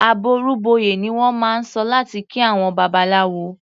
"Àbọrú bọyè" ni wọ́n máa ń sọ láti kí àwọn Babaláwo.